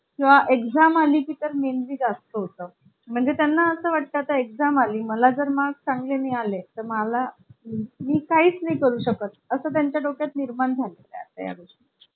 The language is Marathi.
किंवा exam आली तर मेन भी जास्त होतं म्हणजे त्यांना असं वाटतं आता exam आली. मला जर marks चांगले मिळाले तर मला मी काहीच नाही करू शकत असं त्यांच्या डोक्यात निर्माण झाले आहे